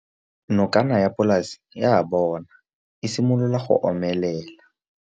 Nokana ya polase ya bona, e simolola go omelela.